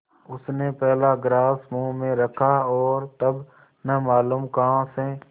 उसने पहला ग्रास मुँह में रखा और तब न मालूम कहाँ से